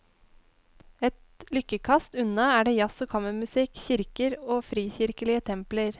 Et lykkekast unna er det jazz og kammermusikk, kirker og frikirkelige templer.